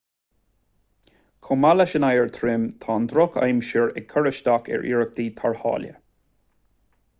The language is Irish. chomh maith leis an oighear trom tá an drochaimsir ag cur isteach ar iarrachtaí tarrthála